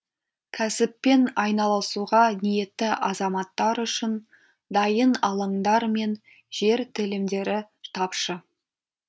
кәсіппен айналысуға ниетті азаматтар үшін дайын алаңдар мен жер телімдері тапшы